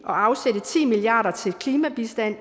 skal